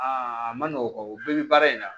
Aa a ma nɔgɔn o bɛɛ bɛ baara in na